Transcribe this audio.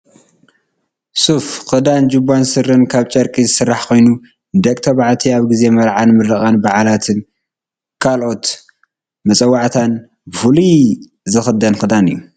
ሱፍ ክዳን ጅባን ስረን ካብ ጨርቂ ዝስራሕ ኮይኑ ንደቂ ተባዕትዮ ኣብ ግዜ መርዓን ምርቃን ባዓላትን ካልኦት መፀዋዕታት ብፉሉይ ዝክደን ክዳን እዩ።